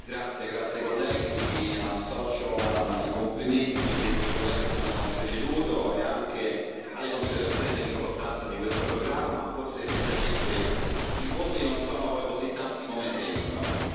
Signora Presidente, onorevoli colleghi, mi associo ai complimenti dei colleghi che mi hanno preceduto e anche alle considerazioni sull'importanza di questo programma. Forse effettivamente i fondi non sono poi così tanti come sembrano.